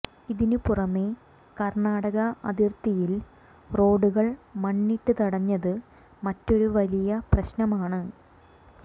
ഇതിന് പുറമേ കർണാടക അതിർത്തിയിൽ റോഡുകൾ മണ്ണിട്ട് തടഞ്ഞത് മറ്റൊരു വലിയ പ്രശ്നമാണ്